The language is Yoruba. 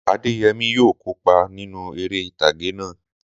Adéyẹmí yóò kópa nínú eré ìtàgé náà.